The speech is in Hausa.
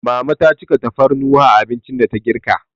Mama ta cika tafarnuwa a abincin da ta girka.